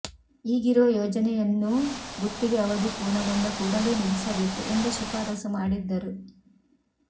ಈಗಿರುವ ಯೋಜನೆಯನ್ನೂ ಗುತ್ತಿಗೆ ಅವಧಿ ಪೂರ್ಣಗೊಂಡ ಕೂಡಲೇ ನಿಲ್ಲಿಸಬೇಕು ಎಂದು ಶಿಫಾರಸು ಮಾಡಿದ್ದರು